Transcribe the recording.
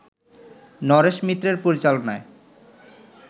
নরেশ মিত্রের পরিচালনায়